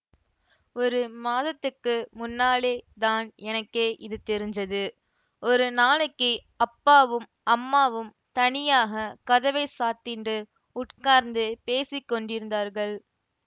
ஒரு மாதத்துக்கு முன்னாலே தான் எனக்கே இது தெரிஞ்சது ஒரு நாளைக்கு அப்பாவும் அம்மாவும் தனியாக கதவை சாத்திண்டு உட்கார்ந்து பேசி கொண்டிருந்தார்கள்